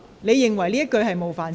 你認為這句言詞有冒犯性？